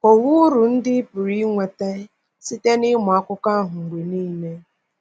Kọwaa uru ndị ị pụrụ inweta site n’ịmụ Akụkọ ahụ mgbe nile.